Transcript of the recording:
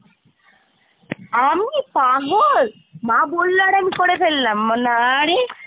আমি? পাগল? মা বললো আর আমি করে ফেললাম! না রে।